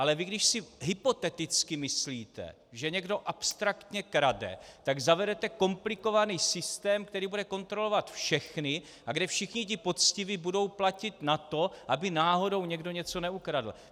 Ale vy, když si hypoteticky myslíte, že někdo abstraktně krade, tak zavedete komplikovaný systém, který bude kontrolovat všechny a kde všichni ti poctiví budou platit na to, aby náhodou někdo něco neukradl.